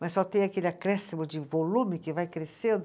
Mas só tem aquele acréscimo de volume que vai crescendo.